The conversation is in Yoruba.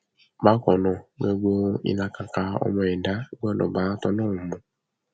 bákan náà gbogbo ìlàkàkà ọmọ ẹdá gbọdọ bá tọlọrun mu